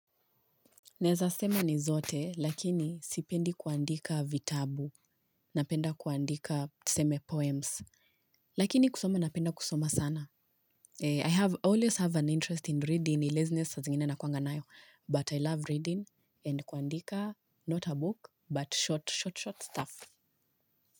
Naeza sema ni zote, lakini sipendi kuandika vitabu, napenda kuandika tuseme poems, lakini kusoma napenda kusoma sana. I have always have an interest in reading, ila laziness sa zingine na kuwanga nayo, but I love reading and kuandika not a book, but short, short, short stuff.